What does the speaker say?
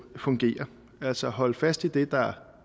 fungere altså holde fast i det der